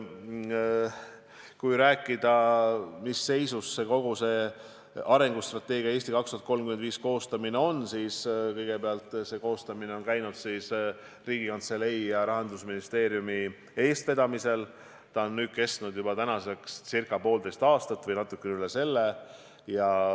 Kui rääkida, mis seisus arengustrateegia "Eesti 2035" koostamine on, siis kõigepealt ütlen, et see on käinud Riigikantselei ja Rahandusministeeriumi eestvedamisel, kestnud nüüdseks juba circa poolteist aastat või natuke üle selle.